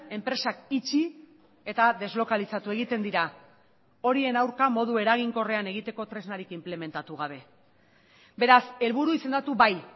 enpresak itxi eta deslokalizatu egiten dira horien aurka modu eraginkorrean egiteko tresnarik inplementatu gabe beraz helburu izendatu bai